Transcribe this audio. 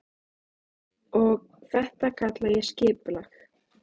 Og þetta kalla ég skipulag.